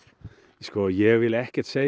ég vil ekkert segja